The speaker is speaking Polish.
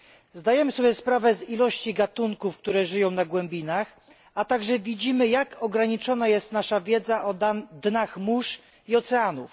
Zdajemy sobie sprawę z ilości gatunków, które żyją w głębinach, a także widzimy, jak ograniczona jest nasza wiedza o dnach mórz i oceanów.